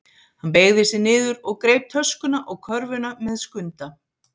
Hann beygði sig niður og greip töskuna og körfuna með Skunda.